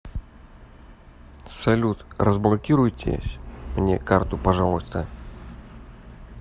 салют разблокируйтесь мне карту пожалуйста